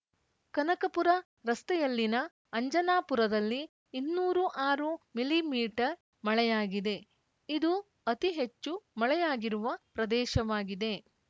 ಕನಕಪುರ ರಸ್ತೆಯಲ್ಲಿನ ಅಂಜನಾಪುರದಲ್ಲಿ ಇನ್ನೂರು ಆರು ಮಿಲಿಮೀಟರ್ ಮಳೆಯಾಗಿದೆ ಇದು ಅತಿ ಹೆಚ್ಚು ಮಳೆಯಾಗಿರುವ ಪ್ರದೇಶವಾಗಿದೆ